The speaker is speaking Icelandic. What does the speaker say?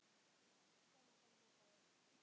Og sama dag hrópaði